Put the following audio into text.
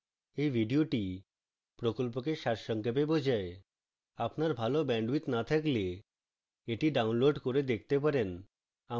এই video প্রকল্পকে সারসংক্ষেপ বোঝায়